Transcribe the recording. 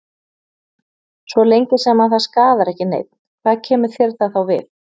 Svo lengi sem að það skaðar ekki neinn, hvað kemur þér það þá við?